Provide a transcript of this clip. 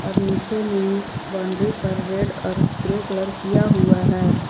और नीचे में बाउंड्री पर रेड और ग्रे कलर किया हुआ है।